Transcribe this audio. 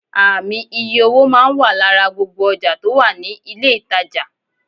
Ààmì iye owó máa n wà lára gbogbo ojà tò wà ní ilé ìtajà